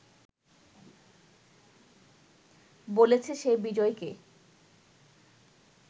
বলেছে সে বিজয়কে